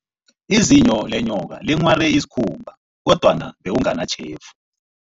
Izinyo lenyoka linghware isikhumba, kodwana bekunganatjhefu.